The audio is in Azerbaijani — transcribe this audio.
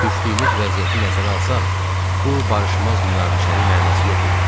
Düşdüyümüz vəziyyəti nəzərə alsaq, bu barışmaz münaqişənin mənası yox idi.